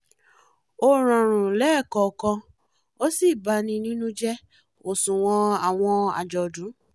ó rọrùn lẹ́ẹ̀kọ̀ọ̀kan ó sì bani nínú jẹ́ òṣùwọ̀n àwọn àjọ̀dún